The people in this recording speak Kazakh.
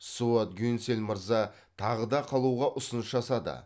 суат гюнсель мырза тағы да қалуға ұсыныс жасады